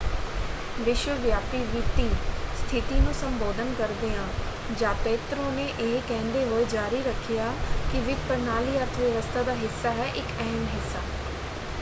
ਵਿਸ਼ਵਵਿਆਪੀ ਵਿੱਤੀ ਸਥਿਤੀ ਨੂੰ ਸੰਬੋਧਨ ਕਰਦਿਆ ਜ਼ਾਪੈਤਰੋ ਨੇ ਇਹ ਕਹਿੰਦੇ ਹੋਏ ਜਾਰੀ ਰੱਖਿਆ ਕਿ ਵਿੱਤ ਪ੍ਰਣਾਲੀ ਅਰਥ ਵਿਵਸਥਾ ਦਾ ਹਿੱਸਾ ਹੈ ਇੱਕ ਅਹਿਮ ਹਿੱਸਾ।